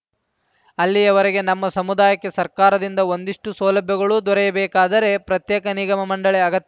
ಅಲ್ಲಿಯವರೆಗೆ ನಮ್ಮ ಸಮುದಾಯಕ್ಕೆ ಸರ್ಕಾರದಿಂದ ಒಂದಿಷ್ಟುಸೌಲಭ್ಯಗಳು ದೊರೆಯಬೇಕಾದರೆ ಪ್ರತ್ಯೇಕ ನಿಗಮ ಮಂಡಳಿ ಅಗತ್ಯ